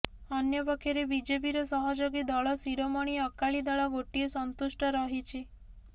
ଅନ୍ୟପକ୍ଷରେ ବିଜେପିର ସହଯୋଗୀ ଦଳ ଶିରୋମଣି ଅକାଳୀ ଦଳ ଗୋଟିଏ ସନ୍ତୁଷ୍ଟ ରହିଛି